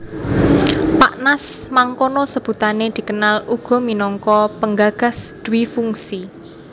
Pak Nas mangkono sebutané dikenal uga minangka penggagas dwifungsi